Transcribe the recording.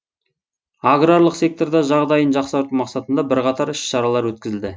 аграрлық секторда жағдайын жақсарту мақсатында бірқатар іс шаралар өткізілді